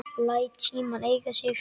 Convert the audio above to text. Læt símann eiga sig.